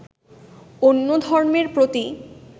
অন্য ধর্মের প্রতি